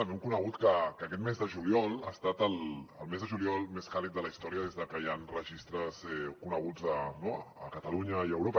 també hem conegut que aquest mes de juliol ha estat el mes de juliol més càlid de la història des de que hi han registres coneguts a catalunya i a europa